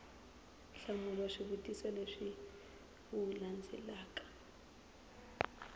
hlamula swivutiso leswi wu landzelaka